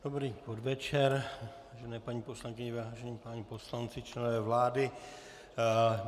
Dobrý podvečer, vážené paní poslankyně, vážení páni poslanci, členové vlády.